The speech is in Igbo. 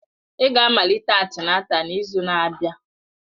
Ị ga-amalite antịnátál n'izu na-abịa!